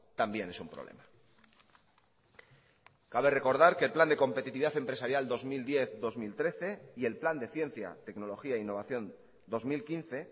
también es un problema cabe recordar que el plan de competitividad empresarial dos mil diez dos mil trece y el plan de ciencia tecnología e innovación dos mil quince